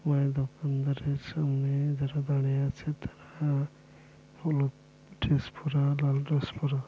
Mobile দোকানদারের সামনে যারা দাঁড়িয়ে আছে তারা-আ হলুদ ড্রেস পরা লাল ড্রেস পরা।